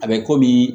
A bɛ komi